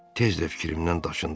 Tez də fikrimdən daşındım.